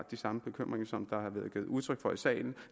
de samme bekymringer som der er blevet givet udtryk for i salen